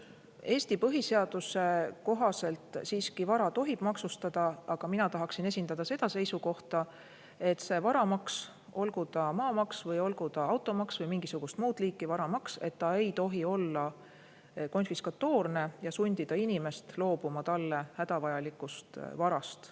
Eesti põhiseaduse kohaselt siiski vara tohib maksustada, aga mina tahaksin esindada seda seisukohta, et varamaks, olgu ta maamaks või olgu ta automaks või mingisugust muud liiki varamaks, ei tohi olla konfiskatoorne ja sundida inimest loobuma talle hädavajalikust varast.